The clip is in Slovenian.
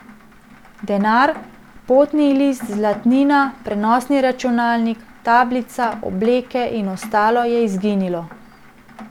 Denar, potni list, zlatnina, prenosni računalnik, tablica, obleke in ostalo je izginilo.